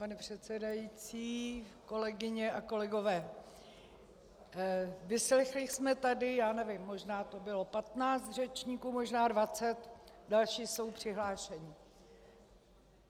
Pane předsedající, kolegyně a kolegové, vyslechli jsme tady - já nevím, možná že bylo 15 řečníků, možná 20, další jsou přihlášeni.